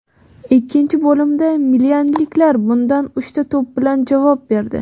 Ikkinchi bo‘limda milanliklar bunda uchta to‘p bilan javob berdi.